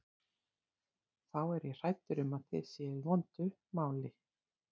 Þá er ég hræddur um að þið séuð í vondu máli.